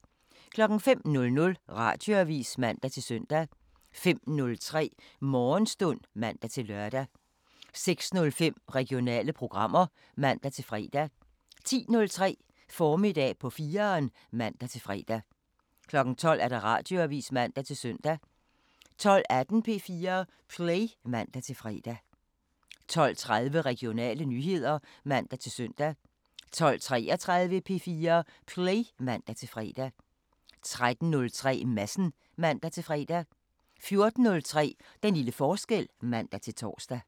05:00: Radioavisen (man-søn) 05:03: Morgenstund (man-lør) 06:05: Regionale programmer (man-fre) 10:03: Formiddag på 4'eren (man-fre) 12:00: Radioavisen (man-søn) 12:18: P4 Play (man-fre) 12:30: Regionale nyheder (man-søn) 12:33: P4 Play (man-fre) 13:03: Madsen (man-fre) 14:03: Den lille forskel (man-tor)